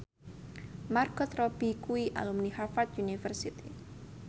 Margot Robbie kuwi alumni Harvard university